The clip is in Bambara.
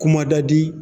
Kuma da di